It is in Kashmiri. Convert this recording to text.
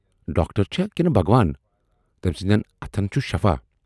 ڈاکٹر چھا کِنہٕ بھگوان، تٔمۍ سٕندٮ۪ن اَتھن چُھ شفا۔